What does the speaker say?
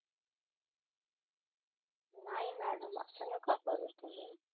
नाही मॅडम अस नका करू तुम्ही